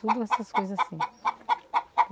Tudo essas coisa assim.